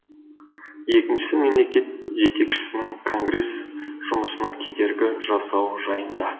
екіншісі мемлекет жетекшісінің конгресс жұмысына кедергі жасауы жайында